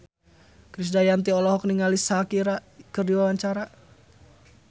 Krisdayanti olohok ningali Shakira keur diwawancara